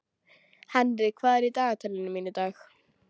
Henrik, hvað er í dagatalinu mínu í dag?